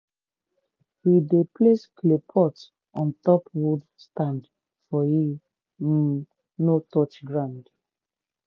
we dey place clay pot on top wood stand make e um no touch ground.